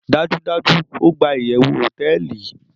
dajudaju, o gba iyewu hoteeli